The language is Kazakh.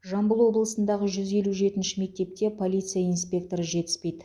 жамбыл облысындағы жүз елу жеті мектепте полиция инспекторы жетіспейді